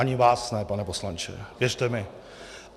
Ani vás ne, pane poslanče, věřte mi.